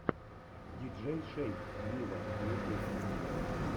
диджей шейк виво ютуб